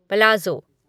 palazzo